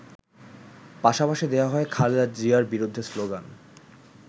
পাশাপাশি দেয়া হয় খালেদা জিয়ার বিরুদ্ধে শ্লোগান।